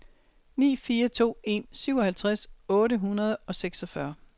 ni fire to en syvoghalvtreds otte hundrede og seksogfyrre